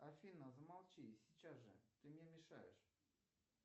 афина замолчи сейчас же ты мне мешаешь